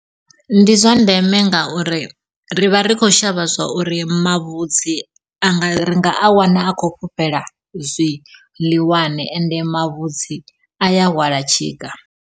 Ndi zwa ndeme ngauri ri vha ri khou shavha zwa uri mavhudzi anga ri nga a wana a khou fhufhela zwiḽiwani ende mavhudzi a ya hwala tshika.